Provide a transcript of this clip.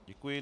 Děkuji.